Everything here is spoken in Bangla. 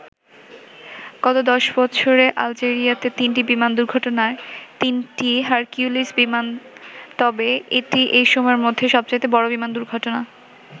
গত দশ বছরে আলজেরিয়াতে তিনটি বিমান দুর্ঘটনার তিনটিই হারকিউলিস বিমান তবে এটিই এই সময়ের মধ্যে সবচাইতে বড় বিমান দুর্ঘটনা।